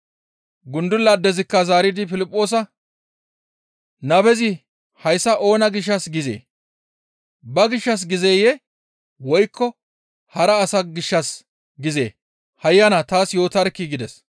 Gundula addezikka zaaridi Piliphoosa, «Nabezi hayssa oona gishshas gizee? Ba gishshas gizeyee? Woykko hara asa gishshas gizee? Hayyana, taas yootarkkii!» gides.